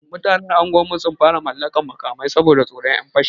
Mutanen unguwarmu sun fara mallakar makamai, saboda tsoron 'yan fashi.